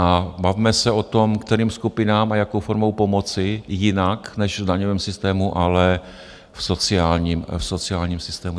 A bavme se o tom, kterým skupinám a jakou formou pomoci jinak než v daňovém systému, ale v sociálním systému.